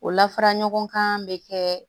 O la fara ɲɔgɔn kan bɛ kɛ